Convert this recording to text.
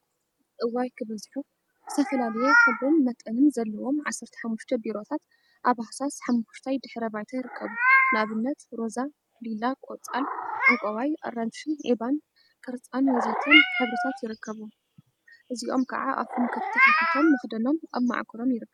እዋይ ክበዝሑ! ዝተፈላለየ ሕብሪን መጠንን ዘለዎም ዓሰርተ ሓሙሽተ ቢሮታት አብ ሃሳስ ሓመኩሽታይ ድሕረ ባይታ ይርከቡ፡፡ ንአብነት ሮዛ፣ ሊላ፣ ቆፃል፣ ዕንቋይ፣ አራንሺ፣ ዒባን ቅርፃን ወዘተ ሕብሪታት ይርከቡዎም፡፡ እዚኦም ከዓ አፎም ተከፊቶም መክደኖም አብ መዓኮሮም ይርከብ፡፡